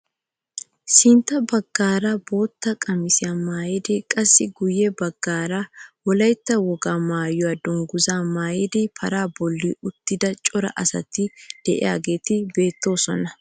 Sintta baggaara bootta qamisiyaa maayida qassi guye baggaara wolayttaa wogaa maayuwaa dunguzaa maayidi paraa bolli uttida cora asati de'iyaageti beettoosona.